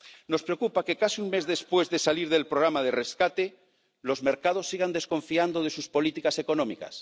Nos preocupa que, casi un mes después de salir del programa de rescate, los mercados sigan desconfiando de sus políticas económicas.